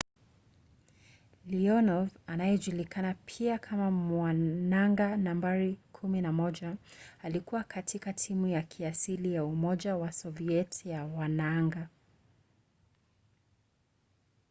leonov anayejulikana pia kama mwanaanga nambari 11” alikuwa kati ya timu ya kiasili ya umoja wa soviet ya wanaanga